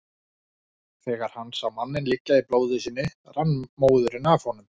Þegar hann sá manninn liggja í blóði sínu rann móðurinn af honum.